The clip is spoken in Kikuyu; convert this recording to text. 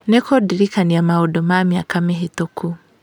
nĩ kũndirikania maũndũ ma mĩaka mĩhĩtũku